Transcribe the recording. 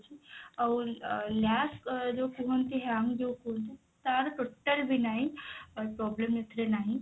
ଆଉ ଅ lag ଯଉ କୁହନ୍ତି hang ଯଉ କୁହନ୍ତି ତାର total ବି ନାହିଁ ଅ problem ଏଥିରେ ନାହିଁ